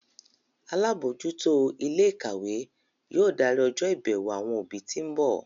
Alábòójútó ilé ìkàwé yóò darí ọjọ́ ìbẹ̀wò àwọn òbí tí ń bọ̀